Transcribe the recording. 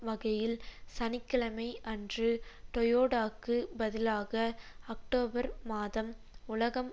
வகையில் சனி கிழமை அன்று டோயோடாக்குப் பதிலாக அக்டோபர் மாதம் உலகம்